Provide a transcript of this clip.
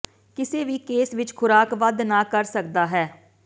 ਕਿਸੇ ਵੀ ਕੇਸ ਵਿੱਚ ਖੁਰਾਕ ਵੱਧ ਨਾ ਕਰ ਸਕਦਾ ਹੈ